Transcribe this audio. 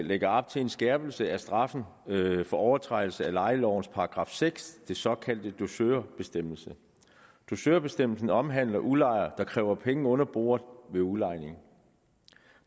lægger op til en skærpelse af straffen for overtrædelse af lejelovens § seks den såkaldte dusørbestemmelse dusørbestemmelsen omhandler udlejere der kræver penge under bordet ved udlejning